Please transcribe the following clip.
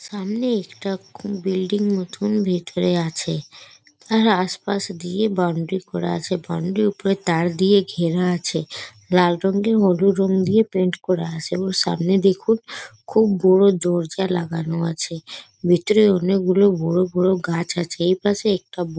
সামনে একটা কোন বিল্ডিং মতোন ভেতরে আছে তার আশপাশ দিয়ে বাউন্ডারি করা আছে বাউন্ডারি র ওপরে তার দিয়ে ঘেরা আছে লাল রং এ হলুদ রং দিয়ে পেইন্ট করা আছে এবং সামনে দেখুন খুব বড়ো দরজা লাগানো আছে ভেতরে অনেক বড়ো বড়ো গাছ আছে এইপাশে একটা--